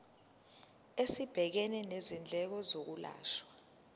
esibhekene nezindleko zokwelashwa